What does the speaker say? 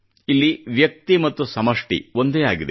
ಇಲ್ಲಿ ವ್ಯಕ್ತಿ ಮತ್ತು ಸಮಷ್ಟಿ ಒಂದೇ ಆಗಿದೆ